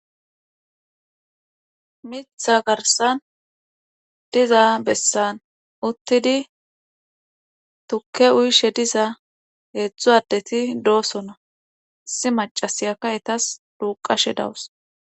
Miththa garssan diza besan uttidi tuke uyishe diza heezdzu addeti dosona. issi maccasiyakka ettas duuqashe dawus.